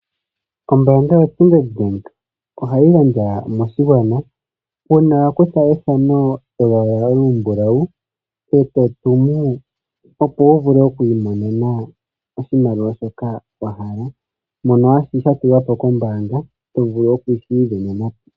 Ombaanga yo Sandard bank ohayi gandja moshigwana uuna wa kutha ethano lyolwaala olumbulawu e to tumu, opo wu vule okwi imonena oshimaliwa shoka wa hala mono hashi ka tulwa po kombaanga to vulu okushi ivenena po.